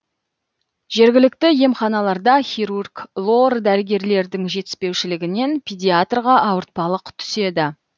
жергілікті емханаларда хирург лор дәрігерлердің жетіспеушілігінен педиатрға ауыртпалық түседі